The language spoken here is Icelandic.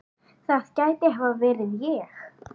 það gæti hafa verið ég